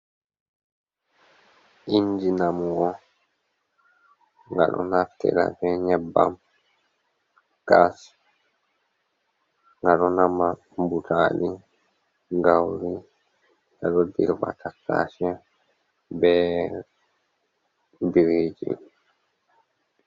Inji namowa, nga ɗo naftira be nyebbam Gas. Nga ɗo nama butadi, gauri, nga ɗo dirɓa tattase be biriiji.